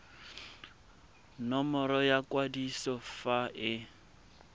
nomoro ya kwadiso fa e